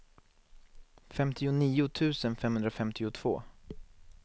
femtionio tusen femhundrafemtiotvå